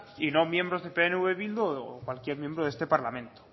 y no miembros de pnv bildu o cualquier miembro de este parlamento